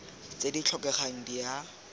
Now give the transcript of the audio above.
tse di tlhokegang di a